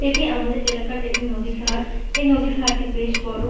এটি আমাদের এলাকার একটি নদীর ঘাট এই নদীর ঘাট টি বেশ বড় ।